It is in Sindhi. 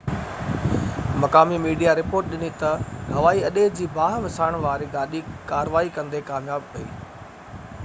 مقامي ميڊيا رپورٽ ڏني تہ هوائي اڏي جي باهہ وسائڻ واري گاڏي ڪاروائي ڪندي ڪامياب ويئي